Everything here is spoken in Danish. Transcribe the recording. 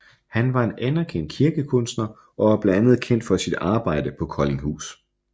Han var en anerkendt kirkekunstner og er blandt andet kendt for sit arbejde på Koldinghus